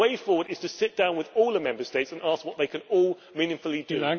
The way forward is to sit down with all the Member States and ask what they can all meaningfully do.